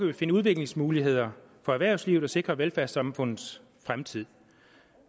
vi finde udviklingsmuligheder for erhvervslivet og sikre velfærdssamfundets fremtid